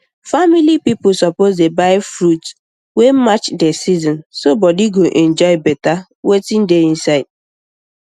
family people suppose dey buy fruit wey match the season so body go enjoy better wetin dey inside